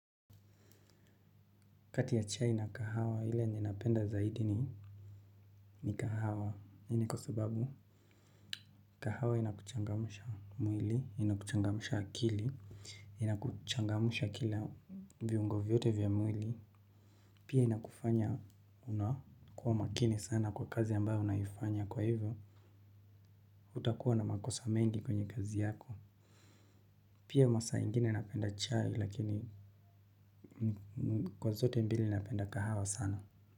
Kati ya chai na kahawa hile ninapenda zaidi ni kahawa. Hii ni kwa sababu? Kahawa inakuchangamusha mwili, inakuchangamusha akili, inakuchangamusha kila viungo vyote vya mwili. Pia inakufanya unakua makini sana kwa kazi ambayo unaifanya kwa hivyo. Hutakuwa na makosa mengi kwenye kazi yako. Pia masaa ingine napenda chai lakini kwa zote mbili napenda kahawa sana.